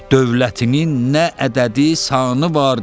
Dövlətinin nə ədədi sanı var.